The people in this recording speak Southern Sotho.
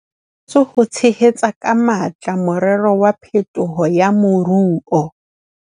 E thehetswe ho tshehetsa ka matla morero wa phetolo ya moruo.